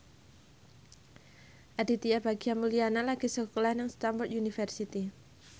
Aditya Bagja Mulyana lagi sekolah nang Stamford University